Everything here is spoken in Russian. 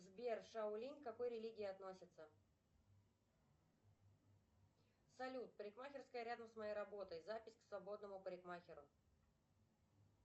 сбер шаолинь к какой религии относится салют парикмахерская рядом с моей работой запись к свободному парикмахеру